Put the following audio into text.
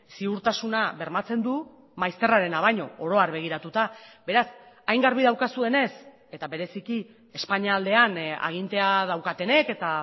ziurtasuna bermatzen du maizterrarena baino oro har begiratuta beraz hain garbi daukazuenez eta bereziki espainia aldean agintea daukatenek eta